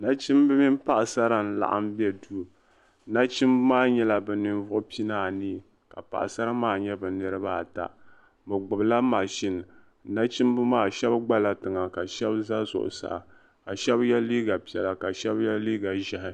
Nachimbi mini paɣasara n laɣim be duu nachimba maa nyela ninvuɣu pinaanu ka paɣasara maa nye bɛ niribaata bɛ gbubila mashini nachimba maa shɛb gbala tiŋa ka shɛb za zuɣu saa ka shɛb ye liiga piɛla ka shɛb ye liiga ʒehi.